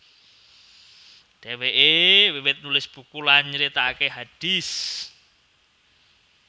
Dhèwèké wiwit nulis buku lan nyritakaké hadits